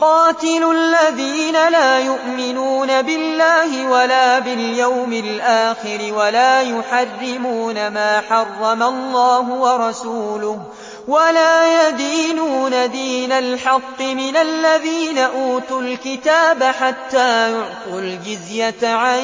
قَاتِلُوا الَّذِينَ لَا يُؤْمِنُونَ بِاللَّهِ وَلَا بِالْيَوْمِ الْآخِرِ وَلَا يُحَرِّمُونَ مَا حَرَّمَ اللَّهُ وَرَسُولُهُ وَلَا يَدِينُونَ دِينَ الْحَقِّ مِنَ الَّذِينَ أُوتُوا الْكِتَابَ حَتَّىٰ يُعْطُوا الْجِزْيَةَ عَن